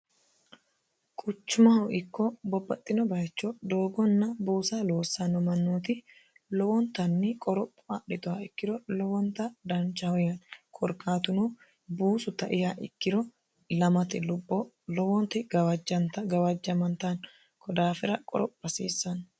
quchumahu ikko bobbaxxino bayicho doogonna buusa loossanno mannooti lowontanni qoropho adhitoha ikkiro lowonta danchahuyani korkaatuno buusu taiha ikkiro lamt lubbo lowonti gawajjamantano kodaafira qoropho hasiissanno